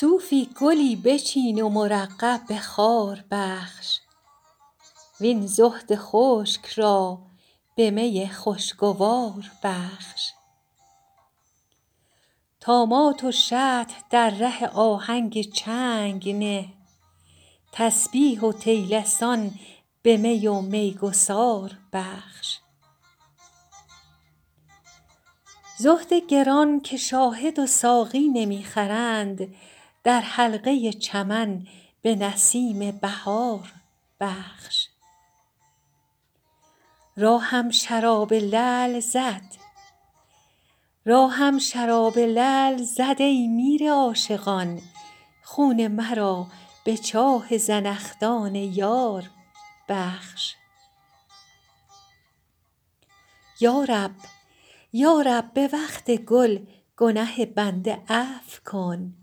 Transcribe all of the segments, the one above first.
صوفی گلی بچین و مرقع به خار بخش وین زهد خشک را به می خوشگوار بخش طامات و شطح در ره آهنگ چنگ نه تسبیح و طیلسان به می و میگسار بخش زهد گران که شاهد و ساقی نمی خرند در حلقه چمن به نسیم بهار بخش راهم شراب لعل زد ای میر عاشقان خون مرا به چاه زنخدان یار بخش یا رب به وقت گل گنه بنده عفو کن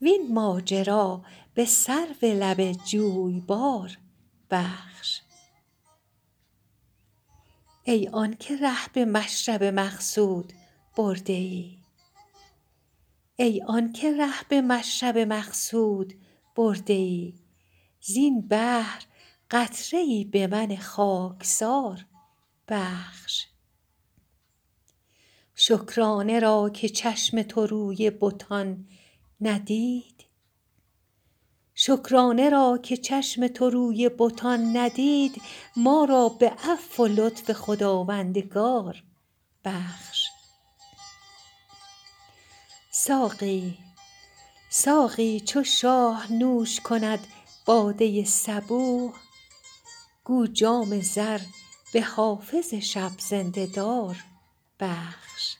وین ماجرا به سرو لب جویبار بخش ای آن که ره به مشرب مقصود برده ای زین بحر قطره ای به من خاکسار بخش شکرانه را که چشم تو روی بتان ندید ما را به عفو و لطف خداوندگار بخش ساقی چو شاه نوش کند باده صبوح گو جام زر به حافظ شب زنده دار بخش